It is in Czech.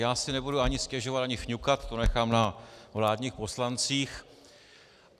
Já si nebudu ani stěžovat ani fňukat, to nechám na vládních poslancích.